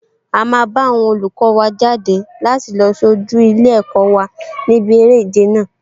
A máa bá àwọn olùkọ wa jáde láti lọ sojú ilé-ẹ̀kọ́ wa níbi eré ìje náà